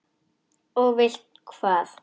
Og vilt hvað?